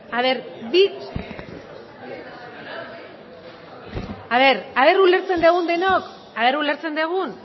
ea ulertzen dugun denok ea ulertzen dugun